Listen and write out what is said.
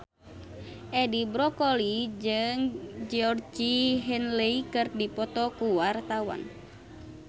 Edi Brokoli jeung Georgie Henley keur dipoto ku wartawan